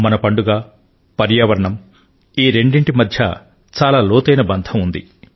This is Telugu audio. మన పండుగ పర్యావరణం ఈ రెండిటి మధ్య చాలా లోతైన బంధం ఉంది